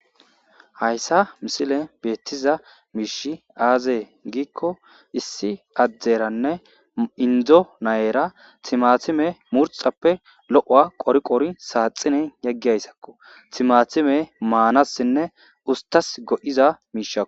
Hayssa missilen bettiza mishshi aaze gikko issi aderanne indo na'ara timatime murxxappe lo'owa qori qoti saxxinen yeggiyayssako timatime manasine usstas goiza mishshako.